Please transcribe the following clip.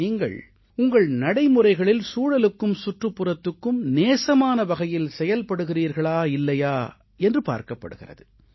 நீங்கள் உங்கள் நடைமுறைகளில் சூழலுக்கும் சுற்றுப்புறத்துக்கும் நேசமான வகையில் செயல்படுகிறீர்களா இல்லையா என்று பார்க்கப் படுகிறது